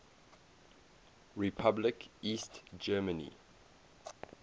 republic east germany